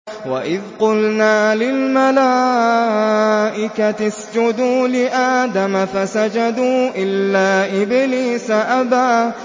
وَإِذْ قُلْنَا لِلْمَلَائِكَةِ اسْجُدُوا لِآدَمَ فَسَجَدُوا إِلَّا إِبْلِيسَ أَبَىٰ